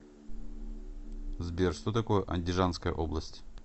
сбер что такое андижанская область